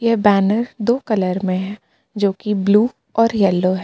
यह बैनर दो कलर में है जो की ब्लू और येलो है।